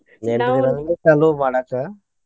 ಎಂಟ ದಿನಾ ಮಾಡಾಕ.